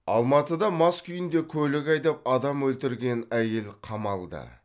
алматыда мас күйінде көлік айдап адам өлтірген әйел қамалды